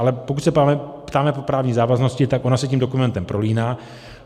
Ale pokud se ptáme po právní závaznosti, tak ona se tím dokumentem prolíná.